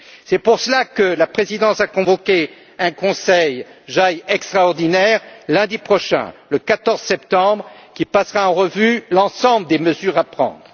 C'est pour cela que la présidence a convoqué un Conseil Justice et affaires intérieures extraordinaire lundi prochain, le 14 septembre, qui passera en revue l'ensemble des mesures à prendre.